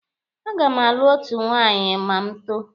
A ga m alụ otu nwaanyị ma m too.